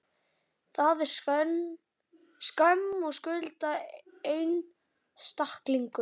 Það er skömm að skulda einstaklingum.